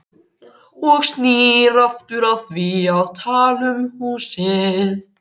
Og snýr aftur að því að tala um húsið.